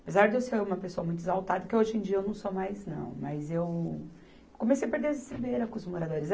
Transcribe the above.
Apesar de eu ser uma pessoa muito exaltada, que hoje em dia eu não sou mais, não, mas eu comecei a perder as estribeiras com os moradores.